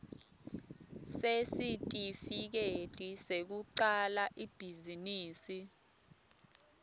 sesitifiketi sekucala ibhizinisi